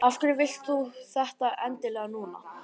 Af hverju vilt þú þetta endilega núna?